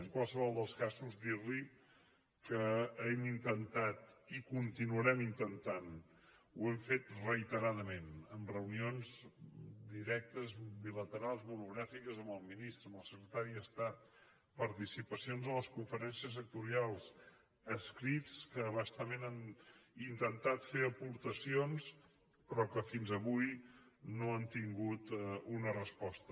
en qualsevol dels casos dir li que hem intentat i continuarem intentant ho hem fet reiteradament amb reunions directes bilaterals monogràfiques amb el ministre amb el secretari d’estat participacions a les conferències sectorials escrits en què bastament hem intentat fer aportacions però que fins avui no han tingut una resposta